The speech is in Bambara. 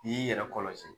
I y'i yɛrɛ kɔlɔsi